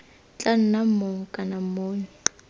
tla nna mong kana monni